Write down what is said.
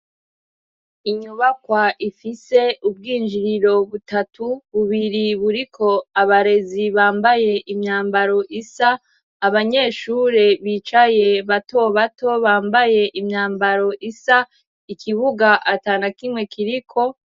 Inyubakwa ifise ubwinjiriro butatu, bubiri buriko abarezi bambaye imyambaro isa, abanyeshure bicaye bato bato bambaye imyambaro isa, ikibuga atanakimwe kiriko.